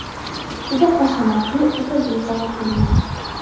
Juda hashamatli, o‘ta go‘zal bino.